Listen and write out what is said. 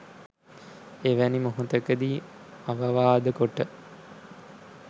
එවැනි මොහොතකදී අවවාද කොට